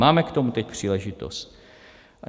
Máme k tomu teď příležitost.